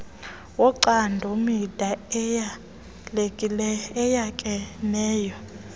wocando mida eyalekeneyo